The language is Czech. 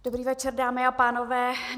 Dobrý večer, dámy a pánové.